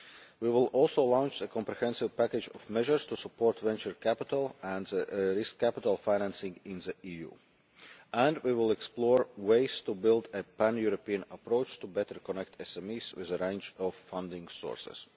We will also launch a comprehensive package of measures to support venture capital and risk capital financing in the EU. We will explore ways to build a pan European approach to better connect SMEs with a range of funding sources.